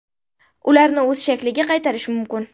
Ularni o‘z shakliga qaytarish mumkin.